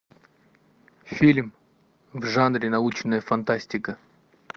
фильм в жанре научная фантастика